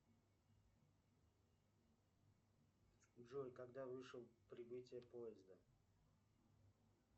джой когда вышел прибытие поезда